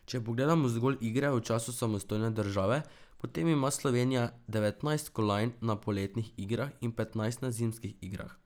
Če pogledamo zgolj igre v času samostojne države, potem ima Slovenija devetnajst kolajn na poletnih igrah in petnajst na zimskih igrah.